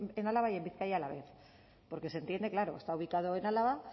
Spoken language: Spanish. en álava y en bizkaia a la vez porque se entiende claro está ubicado en álava